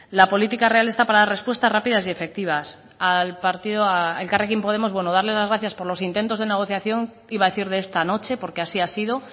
la política real está para dar respuestas rápidas y efectivas a elkarrekin podemos darle las gracias por los intentos de negociación iba a decir de esta noche porque así ha sido